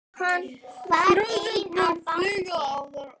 Friðrik mun fylgja yður áfram.